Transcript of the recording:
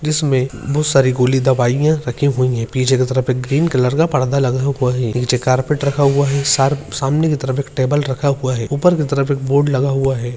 जिसमे बोहोत सारी गोली दवाईयां रखी हुईं हैं पीछे की तरफ एक ग्रीन कलर का पर्दा लगा हुआ हे नीचे कारपेट रखा हुआ हे शार्प-सामने की तरफ एक टेबल रखा हुआ हे ऊपर की तरफ एक बोर्ड लगा हुआ हे।